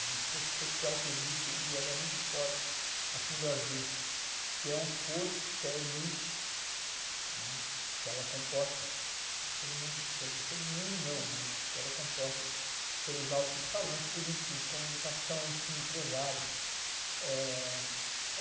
É um fosso social que existe e ele é muito forte aqui no Brasil, que é um fosso, que é elite, né, que ela é composta, quer dizer, todo mundo não, mas que ela é composta pelos altos escalões políticos, de comunicação, enfim, empresários. É...